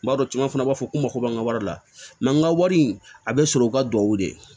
N b'a dɔn caman fana b'a fɔ ko mako b'an ka wari la n ka wari a bɛ sɔrɔ u ka duwawu de